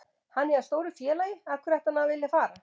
Hann er hjá stóru félagi, af hverju ætti hann að vilja fara?